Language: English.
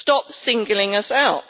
Stop singling us out.